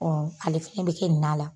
ale fɛnɛ bɛ kɛ nin na la.